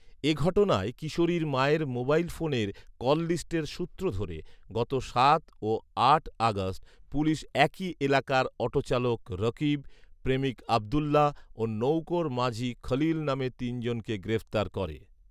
এ ঘটনায় কিশোরীর মায়ের মোবাইল ফোনের কললিস্টের সূত্র ধরে গত সাত ও আট আগস্ট পুলিশ একই এলাকার অটোচালক রকিব, প্রেমিক আবদুল্লাহ ও নৌকার মাাঝি খলিল নামে তিন জনকে গ্রেফতার করে